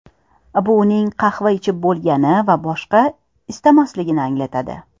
Bu uning qahva ichib bo‘lgani va boshqa istamasligini anglatadi.